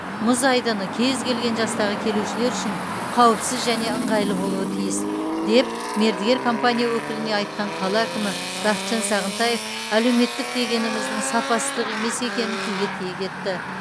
мұз айдыны кез келген жастағы келушілер үшін қауіпсіз және ыңғайлы болуы тиіс деп мердігер компания өкіліне айтқан қала әкімі бақытжан сағынтаев әлеуметтік дегеніміздің сапасыздық емес екенін тілге тиек етті